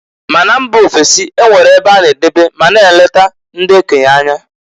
Ma na mba ofesi e nwere ebe a na edobe ma na-eleka ndị okenye anya.